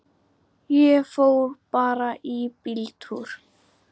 Kristur hrakinn og hæddur.